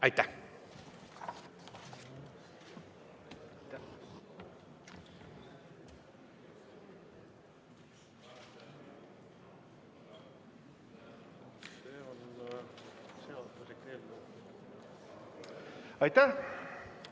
Aitäh!